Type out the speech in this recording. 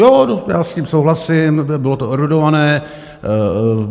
Jo, já s tím souhlasím, bylo to erudované.